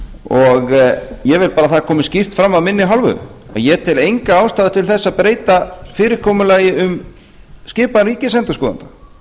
og ég vil bara að það komi skýrt fram af minni hálfu að ég tel enga ástæðu til að breyta fyrirkomulagi um skipan ríkisendurskoðanda